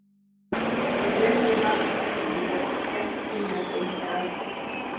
Við frekari rannsóknir kom í ljós að skert kynlöngun er algeng.